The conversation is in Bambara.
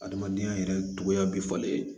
Adamadenya yɛrɛ cogoya bɛ falen